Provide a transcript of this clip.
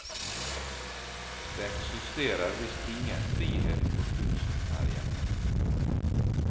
Det eksisterer visst ingen frihet for kunsten her hjemme.